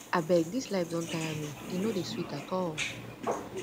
abeg dis life don tire me e no dey sweet at all